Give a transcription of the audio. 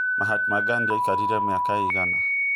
Mahatma gandhi aĩkarĩre mĩaka ĩigana